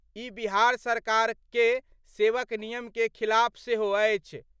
ई बिहार सरकार के सेवक नियम के खिलाफ सेहो अछि।